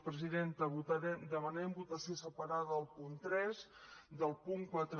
presidenta demanem votació separada del punt tres del punt quatre